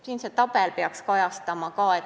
See tabel siin peaks seda ka kajastama.